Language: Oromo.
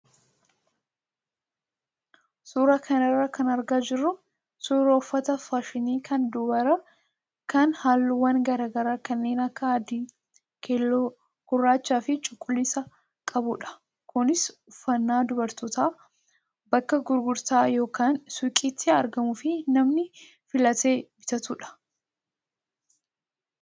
Suuraa kanarraa kan argaa jirru suuraa uffata faashinii kan dubaraa kan halluuwwan garaagaraa kanneen akka adii, keelloo, gurraachaa fi cuquliisa qabudha. Kunis uffannaa dubarootaa bakka gurgurtaa yookaan suuqiitti argamuu fi namni filatee bitatudha.